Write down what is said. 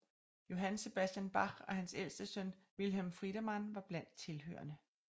Johann Sebastian Bach og hans ældste søn Wilhelm Friedemann var blandt tilhørerne